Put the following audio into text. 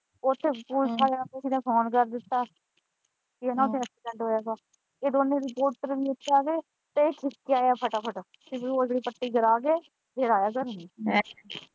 ਉੱਥੇ ਪੁਲਿਸ ਆਲਿਆਂ ਨੂੰ ਕਿਸੇ ਨੇ ਫੋਨ ਕਰ ਦਿੱਤਾ ਪੀ ਇਹਨਾਂ ਤੋਂ ਐਕਸੀਡੈਂਟ ਹੋਇਆ ਵਾ ਉਦੋਂ ਰਿਪੋਰਟਰ ਵੀ ਉੱਥੇ ਆ ਗਏ ਤੇ ਇਹ ਖਿਸਕ ਆਇਆ ਫੱਟਾ ਫੱਟ ਪੱਟੀ ਕਰਾ ਕੇ ਫਿਰ ਆਇਆ ਘਰ ਨੂੰ ।